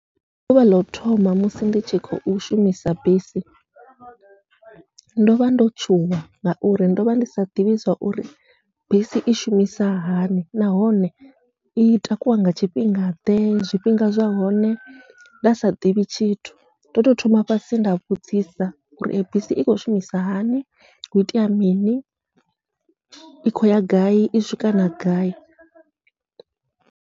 Ndi ḓuvha ḽau thoma musi ndi tshi khou shumisa bisi ndovha ndo tshuwa, ngauri ndovha ndi sa ḓivhi zwauri bisi i shumisa hani nahone i takuwa nga tshifhinga ḓe zwifhinga zwa hone nda sa ḓivhi tshithu, ndo tou thoma fhasi nda vhudzisa uri bisi i khou shumisa hani hu itea mini i khou ya gai i swika na gai.